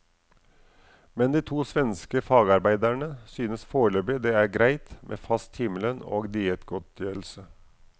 Men de to svenske fagarbeiderne synes foreløpig det er greit med fast timelønn og diettgodtgjørelse.